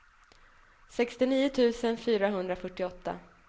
sextionio tusen fyrahundrafyrtioåtta